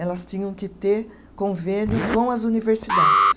Elas tinham que ter convênio com as universidades.